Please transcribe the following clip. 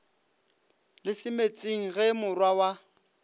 le semetsing ge morwa wa